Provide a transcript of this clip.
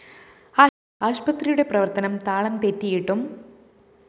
ആശുപത്രിയുടെ പ്രവര്‍ത്തനം താളം തെറ്റിയിട്ടും